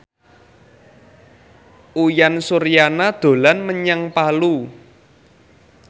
Uyan Suryana dolan menyang Palu